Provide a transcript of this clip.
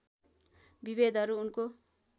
विभेदहरू उनको